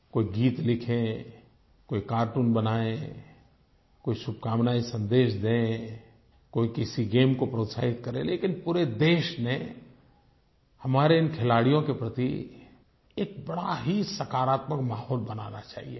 कोई गीत लिखे कोई कार्टून बनाए कोई शुभकामनायें सन्देश दे कोई किसी गेम को प्रोत्साहित करे लेकिन पूरे देश को हमारे इन खिलाड़ियों के प्रति एक बड़ा ही सकारात्मक माहौल बनाना चाहिए